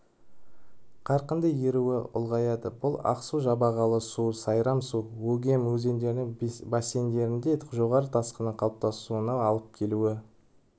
қарқынды еруі ұлғаяды бұл ақсу жабағылы-су сайрам-су өгем өзендерінің бассейндерінде жоғарғы тасқынның қалыптасуына алып келуі